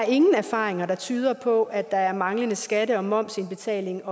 ingen erfaringer der tyder på at der er manglende skatte og momsindbetaling